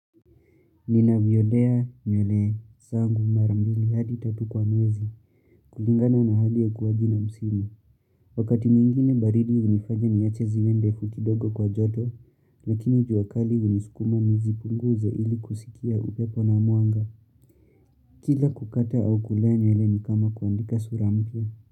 Ninavyolea nywele zangu mara mbili hadi tatu kwa mwezi kulingana na hali ya kuwa jina msimu Wakati mwingine baridi hunifanya niache zimee ndefu kidogo kwa joto lakini jua kali hunisukuma nizipunguze ili kusikia upepo na mwanga Kila kukata au kulea nywele ni kama kuandika sura mpya.